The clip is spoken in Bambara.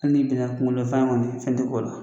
Al n'i binna kungolo fan ŋɔni fɛn tɛ k'o la.